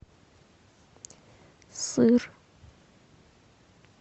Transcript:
сыр